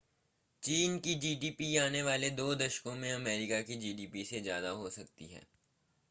चीन की जीडीपी आने वाले दो दशकों मे अमेरिका की जीडीपी से ज्यादा हो सकती है